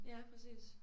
Ja præcis